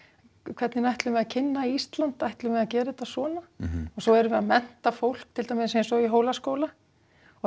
hvernig ætlum við að kynna Ísland ætlum við að gera þetta svona svo erum við að mennta fólk til dæmis eins og í Hólaskóla og